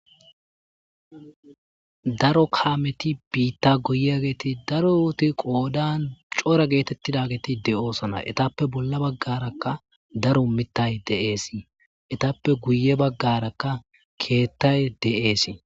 daro kaameti biitta goyiyageeti daroti qoodan cora geetettidageeti de'oosana etappe bolla baggarakka daro mittay de7eesii etappe guye baggarakka keettay dee'esii